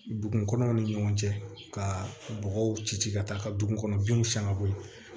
Dugu kɔnɔw ni ɲɔgɔn cɛ ka bɔgɔw ci ka taa ka dugukɔnɔdenw san ka bɔ yen